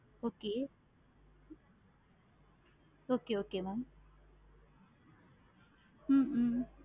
okay okay okay ma'am hmm hmm